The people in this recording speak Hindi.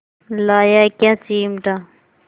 लाया क्या चिमटा